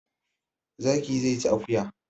Zaki zai ci akuya